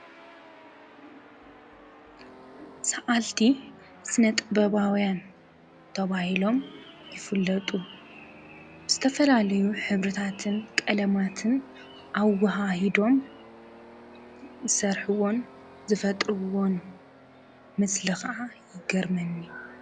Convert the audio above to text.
ሰኣልቲ ስነ-ጥበባውያን ተባሂሎም ይፍለጡ፡፡ ዝተፈላለዩ ሕብሪታት ቀለማት ኣዋሃሂዶም ዝሰርሑዎን ዝፈጥሩዎን ምስሊ ከዓ ይገርመኒ፡፡